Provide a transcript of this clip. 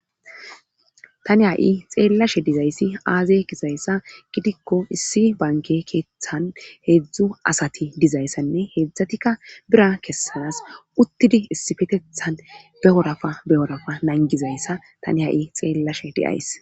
tani ha7i xeellashe dizayssi aaze kisayssa gidikko issi banke keeththan heedzdzu asati dizayssanne heedzdzatikka bira kessanas uttidi issifetethan beorafa beyorafa nangizayssa tani ha7i xeellashe deyays